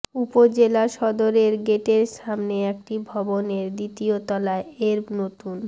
উপজেলা সদরের গেটের সামনে একটি ভবনের দ্বিতীয় তলায় এর নতুন